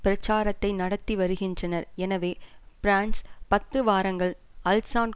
பிரச்சாரத்தை நடத்தி வருகின்றனர் எனவே பிரான்ஸ் பத்து வாரங்கள் அல்சான்